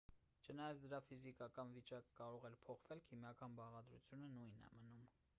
չնայած դրա ֆիզիկական վիճակը կարող է փոխվել քիմիական բաղադրությունը նույնն է մնում